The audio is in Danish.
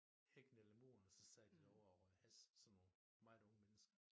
Hækken eller muren og så sad de derovre og røg hash sådan nogen meget unge mennesker